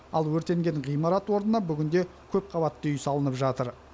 ал өртенген ғимарат орнына бүгінде көпқабатты үй салынып жатыр